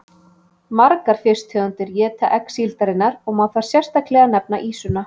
Margar fisktegundir éta egg síldarinnar og má þar sérstaklega nefna ýsuna.